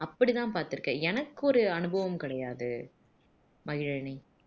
அப்படித்தான் பார்த்திருக்கன் எனக்கு ஒரு அனுபவம் கிடையாது மகிழினி